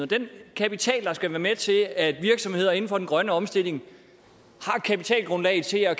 den kapital der skal være med til at virksomheder inden for den grønne omstilling kapitalgrundlaget til at